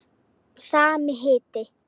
Sami hiti.